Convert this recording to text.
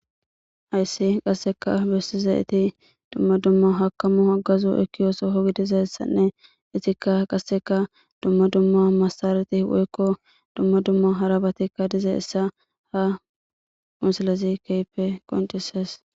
hayssi qasseka bessi zayeti dumma dumma hakamu aggazu ekiyoosohogidizassanne itikka qasseka dumma dumma massarati woykko dumma dumma harabatikka diza essa ha musilezi keehipe qoncises